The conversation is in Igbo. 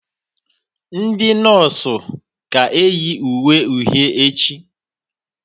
Ndị nọsụ ga-eyi uwe uhie echi